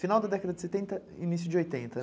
Final da década de setenta, início de oitenta, né?